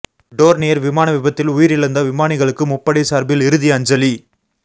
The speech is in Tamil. டோர்னியர் விமான விபத்தில் உயிரிழந்த விமானிகளுக்கு முப்படை சார்பில் இறுதி அஞ்சலி